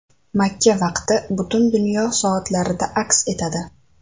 Makka vaqti butun dunyo soatlarida aks etadi.